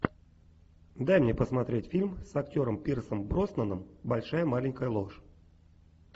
дай мне посмотреть фильм с актером пирсом броснаном большая маленькая ложь